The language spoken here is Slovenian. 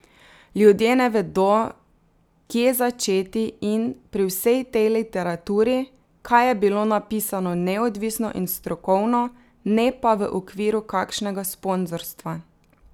Ljudje ne vedo, kje začeti in, pri vsej tej literaturi, kaj je bilo napisano neodvisno in strokovno, ne pa v okviru kakšnega sponzorstva.